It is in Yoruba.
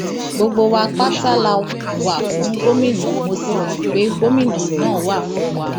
gbogbo wa pátá la wà fún gómìnà mo sì mọ pé gómìnà náà wà fún wa